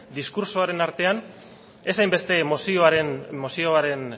diskurtsoaren artean ez hainbeste mozioaren zioan